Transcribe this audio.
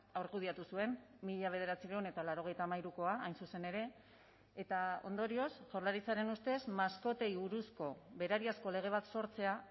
argudiatu zuen mila bederatziehun eta laurogeita hamairukoa hain zuzen ere eta ondorioz jaurlaritzaren ustez maskotei buruzko berariazko lege bat sortzea